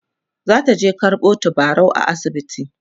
zataje karɓo tabarau a asibiti